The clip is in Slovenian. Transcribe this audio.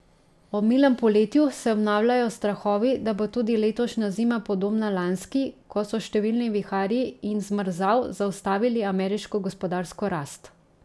Ob milem poletju se obnavljajo strahovi, da bo tudi letošnja zima podobna lanski, ko so številni viharji in zmrzal zaustavili ameriško gospodarsko rast.